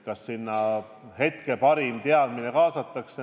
Kas kaasatakse hetke parim teadmine?